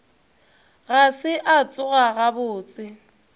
ga se a tsoga gabotse